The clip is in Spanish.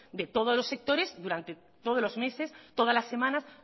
de todos los sectores durante todos los meses todas las semanas